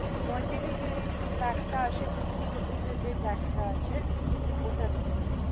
Quantity যে pack টা আসে, যে fifty rupees এর যে pack তা আসে ওটা দিয়ে দিন.